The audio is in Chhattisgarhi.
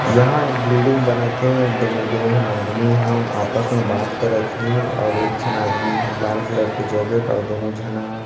यहाँ एक बिल्डिंग बनत हे जेमे दो झन आदमी ह आपस में बात करत हे औउ एक झन आदमी ह लाल कलर के जैकेट और दोनों झना --